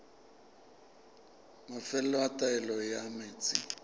mafelo a taolo ya metsi